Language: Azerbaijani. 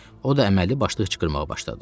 O da əməlli başlı hıçqırmağa başladı.